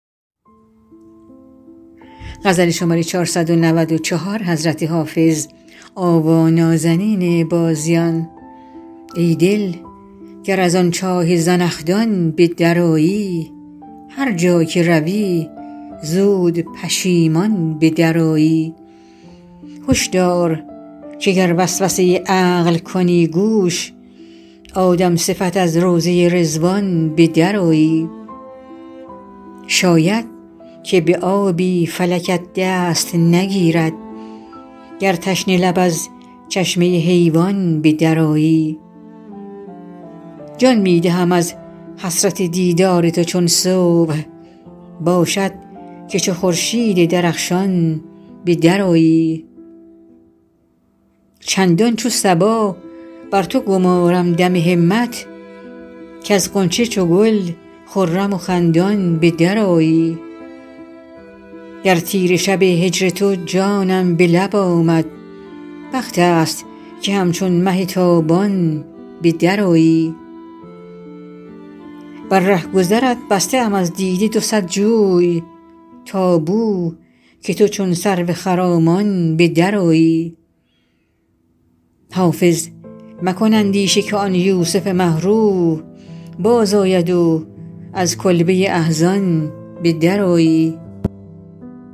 ای دل گر از آن چاه زنخدان به درآیی هر جا که روی زود پشیمان به درآیی هش دار که گر وسوسه عقل کنی گوش آدم صفت از روضه رضوان به درآیی شاید که به آبی فلکت دست نگیرد گر تشنه لب از چشمه حیوان به درآیی جان می دهم از حسرت دیدار تو چون صبح باشد که چو خورشید درخشان به درآیی چندان چو صبا بر تو گمارم دم همت کز غنچه چو گل خرم و خندان به درآیی در تیره شب هجر تو جانم به لب آمد وقت است که همچون مه تابان به درآیی بر رهگذرت بسته ام از دیده دو صد جوی تا بو که تو چون سرو خرامان به درآیی حافظ مکن اندیشه که آن یوسف مه رو بازآید و از کلبه احزان به درآیی